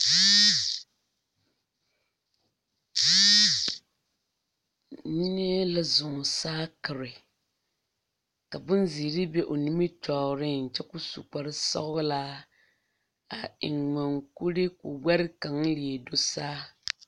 Neɛ la zoɔ saakire ka boŋ zēēre be o nimitɔɔriŋ kyɛ koo su kpare sɔglaa a eŋ moŋkuri koo gbɛre kaŋ leɛ do saa.